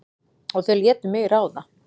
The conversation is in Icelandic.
Og þau létu mig ráða.